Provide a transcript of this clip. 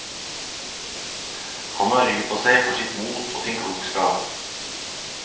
Han har ry på seg for sitt mot og sin klokskap.